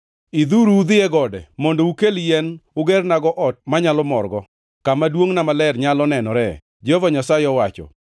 Idh-uru udhi e gode mondo ukel yien ugernago ot manyalo morgo, kama duongʼna maler nyalo nenoree,” Jehova Nyasaye owacho.